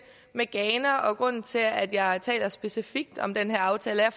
med ghana og grunden til at jeg taler specifikt om den her aftale er